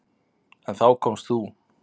En þá komst þú.